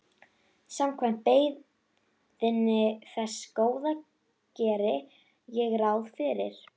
Samkvæmt beiðni þess Góða geri ég ráð fyrir.